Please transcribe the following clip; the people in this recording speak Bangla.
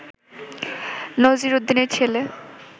নজির উদ্দিনের ছেলে